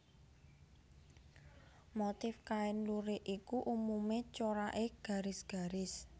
Motif kain lurik iku umumé coraké garis garis